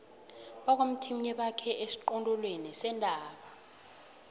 bakwamthimunye bakhe esiqongolweni sentaba